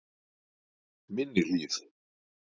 Minni Hlíð